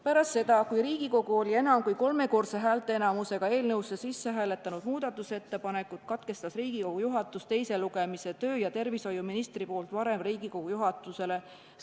Pärast seda, kui Riigikogu oli enam kui kolmekordse häälteenamusega muudatusettepanekud eelnõusse sisse hääletanud, katkestas Riigikogu juhatus teise lugemise, võttes aluseks tervise- ja tööministri tingimusliku kirja Riigikogu juhatusele.